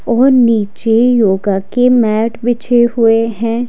और नीचे योगा के मैट बिछे हुए हैं।